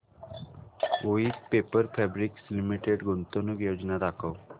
Voith paper fabrics limited गुंतवणूक योजना दाखव